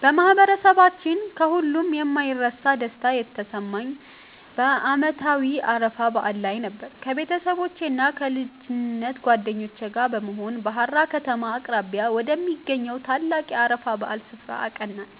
በማህበረሰባችን ከሁሉ የማይረሳ ደስታ የተሰማኝ በዓመታዊው የአረፋ በዓል ላይ ነበር። ከቤተሰቦቼና ከልጅነት ጓደኞቼ ጋር በመሆን በሃራ ከተማ አቅራቢያ ወደሚገኘው ታላቁ የአረፋ በዓል ስፍራ አቀናን።